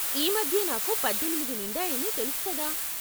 ఈ మధ్యే నాకు పద్దెనిమిది నిండాయని తెలుసు కదా?